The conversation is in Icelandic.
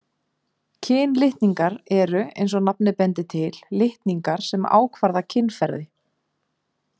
Kynlitningar eru, eins og nafnið bendir til, litningar sem ákvarða kynferði.